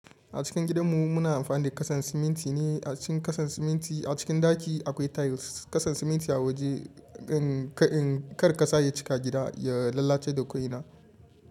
A cikin gidanmu muna amfani da kasan siminti ne, a cikin kasan siminti a cikin ɗaki akwai tiles. Kasan siminti a waje, in kar ƙasa ya cika gida ya lalace da ƙoina.